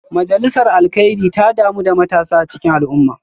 Majalisar Alkairi ta damu da matasa a cikin al’umma